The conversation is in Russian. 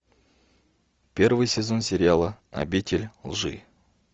первый сезон сериала обитель лжи